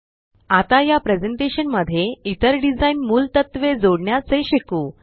आता या प्रेज़ेंटेशन मध्ये इतर डिज़ाइन मूलतत्वे जोडण्याचे शिकू